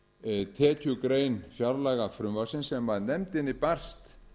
á tekjugrein fjárlagafrumvarpsins sem nefndinni barst